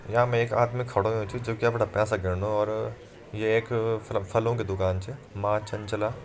यामा एक आदमी खड़ो हुयुं च जोकि अपड़ा पैसा गिन्नू और ये एक फल फलो की दुकान च माँ चंचला।